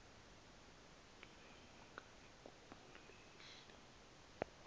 lemk igubu lehl